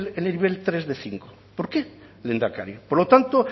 en el nivel tres de cinco por qué lehendakari por lo tanto